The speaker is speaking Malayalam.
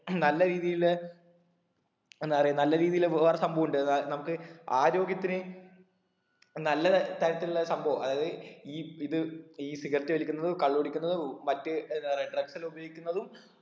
നല്ല രീതില് എന്താ പറയാ നല്ല രീതില് വേറെ സംഭവം ഇണ്ട് അതായെ നമക്ക് ആര്യോഗത്തിന് നല്ലതര തരത്തിലുള്ള സംഭവം അതായത് ഈ ഇത് ഈ cigarette വലിക്കുന്നതും കള്ള് കുടിക്കുന്നതും മറ്റു എന്താ പറയാ drugs എല്ലാം ഉപയോഗിക്കുന്നതും